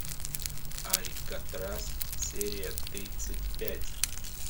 алькатрас серия тридцать пять